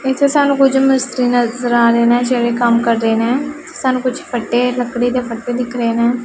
ਇਹ 'ਚ ਸਾਨੂੰ ਕੁਝ ਮਿਸਤਰੀ ਨਜ਼ਰ ਆ ਰਹੇ ਨੇਂ ਜਿਹੜੇ ਕੰਮ ਕਰ ਰਹੇ ਨੇਂ ਸਾਨੂੰ ਕੁਛ ਫੱਟੇ ਲੱਕੜੀ ਦੇ ਫੱਟੇ ਦਿਖ ਰਹੇ ਹੈਂ।